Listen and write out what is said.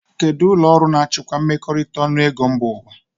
Kedụ ụlọọrụ na-achịkwa mmekọrịta ọnụego mba ụwa?